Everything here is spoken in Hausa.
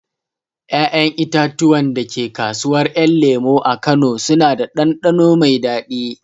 Ƴaƴan itatuwan da ke kasuwar ƴan lemo a kano suna da ɗanɗano mai daɗi